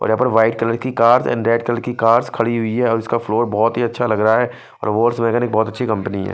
और यहा पर वाइट कलर की कार एंड रेड कलर की कार खड़ी हुई है और इसका फ्लोर बहोत ही अच्छा लग रहा है अछि कम्पनी है।